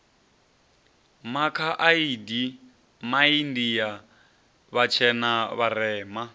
makha adi maindia vhatshena vharema